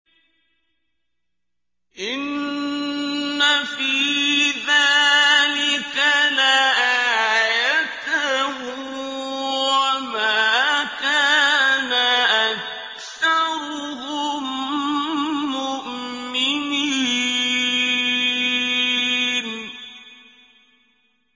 إِنَّ فِي ذَٰلِكَ لَآيَةً ۖ وَمَا كَانَ أَكْثَرُهُم مُّؤْمِنِينَ